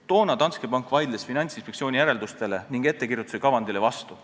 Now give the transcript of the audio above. Toona vaidles Danske pank Finantsinspektsiooni järeldustele ning ettekirjutuse kavandile vastu.